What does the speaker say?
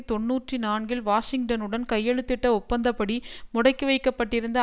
தொன்னூற்றி நான்கில் வாஷிங்டனுடன் கையெழுத்திட்ட ஒப்பந்தப்படி முடக்கி வைக்க பட்டிருந்த